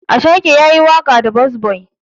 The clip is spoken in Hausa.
Ashake yayi waƙa da burns boy.